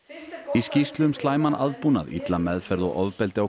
í skýrslu um slæman aðbúnað illa meðferð og ofbeldi á